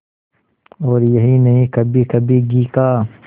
और यही नहीं कभीकभी घी का